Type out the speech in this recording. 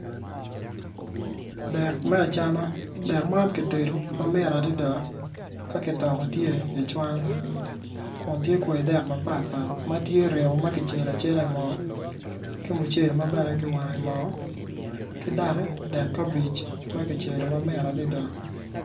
Dek me acama dek man kitedo ma mit adada ma kitokogi i cwan ma tye kwayi dek mapatpat ma tye iye ringo ma kicelo acel i moo